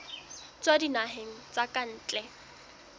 tswa dinaheng tsa ka ntle